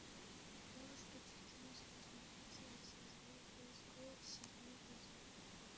можешь включить кино звездные рыцари со звезды изгоев седьмой эпизод